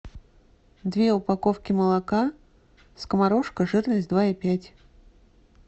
две упаковки молока скоморошка жирность два и пять